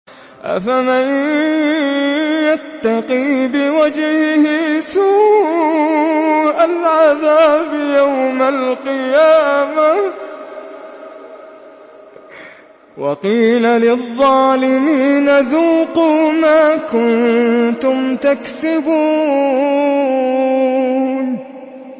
أَفَمَن يَتَّقِي بِوَجْهِهِ سُوءَ الْعَذَابِ يَوْمَ الْقِيَامَةِ ۚ وَقِيلَ لِلظَّالِمِينَ ذُوقُوا مَا كُنتُمْ تَكْسِبُونَ